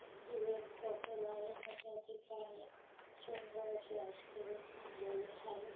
ही एक हॉटेल आहे आणि त्या ठिकाणी सुंदर शे आईसक्रीम आणलेले आहे.